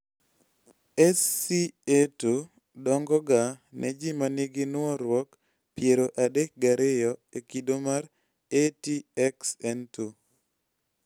SCA2 dongo ga ne ji manigi nuoruok piero adek gariyo e kido mar ATXN2